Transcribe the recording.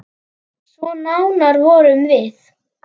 Svo nánar vorum við.